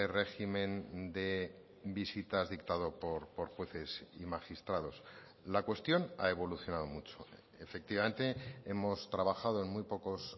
régimen de visitas dictado por jueces y magistrados la cuestión ha evolucionado mucho efectivamente hemos trabajado en muy pocos